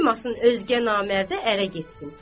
Qoymasın özgə namərdə ərə getsin.